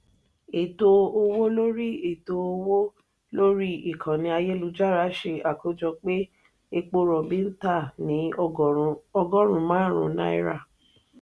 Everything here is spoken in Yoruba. ètò owó lórí ètò owó lórí ikànnì ayélujára se akojọ pé epo robi ń ta ní ọgọrùn márùn náírà.